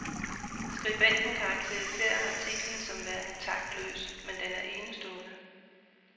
Skribenten karakteriserer artiklen som værende taktløs, men den er enestående.